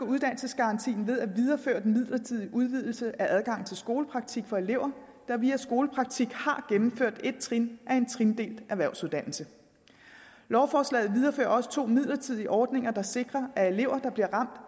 uddannelsesgarantien ved at videreføre den midlertidige udvidelse af adgangen til skolepraktik for elever der via skolepraktik har gennemført et trin af en trindelt erhvervsuddannelse lovforslaget viderefører også to midlertidige ordninger der sikrer at elever der bliver